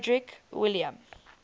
frederick william